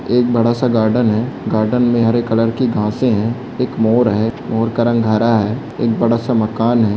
एक बड़ा सा गार्डन है गार्डन में हरे कलर की घासे है एक मोर है मोर का कलर हरा है एक बड़ा सा मकान है।